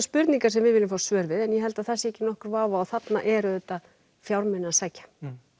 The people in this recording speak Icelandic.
spurningar sem við viljum fá svör við en ég held það sé ekki nokkur vafi á að þarna er auðvitað fjármuni að sækja